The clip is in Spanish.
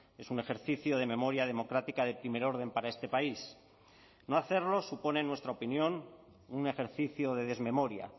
es un ejercicio de memoria democrática de primer orden para este país no hacerlo supone en nuestra opinión un ejercicio de desmemoria